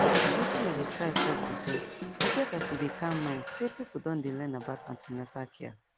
wetin i dey try talk be say e get as e dey calm mind say people don dey learn about an ten atal care